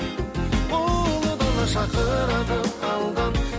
ұлы дала шақырады алдан